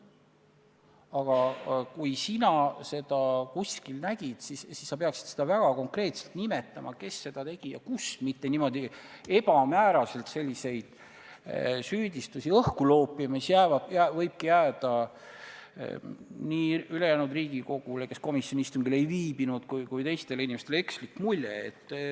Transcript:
Aga kui sina seda nägid, siis sa peaksid väga konkreetselt nimetama, kes seda tegi ja kus, mitte ebamääraseid süüdistusi õhku loopima, sest nii võib ülejäänud Riigikogu liikmetele, kes komisjoni istungil ei viibinud, ja ka teistele inimestele jääda ekslik mulje.